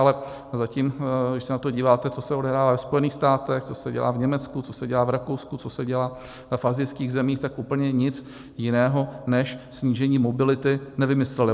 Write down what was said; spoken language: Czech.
Ale zatím, když se na to díváte, co se odehrává ve Spojených státech, co se dělá v Německu, co se dělá v Rakousku, co se dělá v asijských zemích, tak úplně nic jiného než snížení mobility nevymysleli.